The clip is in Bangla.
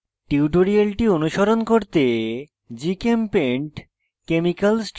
tutorial অনুসরণ করতে